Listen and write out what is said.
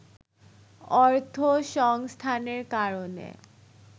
অর্থসংস্থানের কারণে